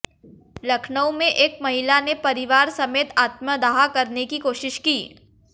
लखनऊ में एक महिला ने परिवार समेत आत्मदाह करने की कोशिश की